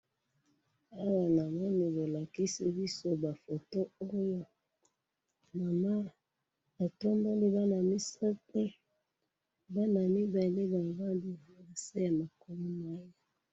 Awa namoni bolakisi biso bafoto oyo, mama atomboli bana misatu, bana mibale balali nase yamakolo naye.